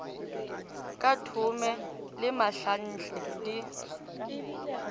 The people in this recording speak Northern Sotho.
ka thume le mahlanhle di